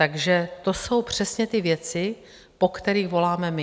Takže to jsou přesně ty věci, po kterých voláme my.